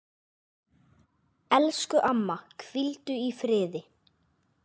Elsku amma, hvíldu í friði.